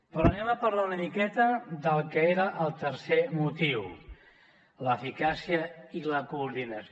però parlem una miqueta del que era el tercer motiu l’eficàcia i la coordinació